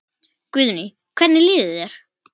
Guðný: Hvernig líður þér?